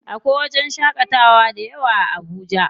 Akwai wajen shaƙatawa dayawa a Abuja.